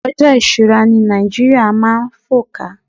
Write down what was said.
ojo isura ni Naijiria ma n fọ́ká